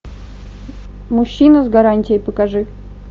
мужчина с гарантией покажи